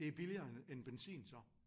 Det billigere end benzin så